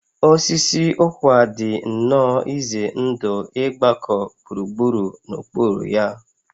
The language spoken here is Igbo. Osisi ụkwa dị nnọọ ize ndụ ịgbakọ gburugburu n'okpuru ya